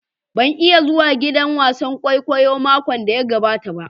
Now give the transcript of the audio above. Ban iya zuwa giɗan wasan ƙwaiƙwayo maƙon da ya gaɓata ba